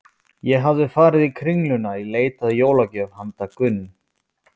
Ég hafði farið í Kringluna í leit að jólagjöf handa Gunn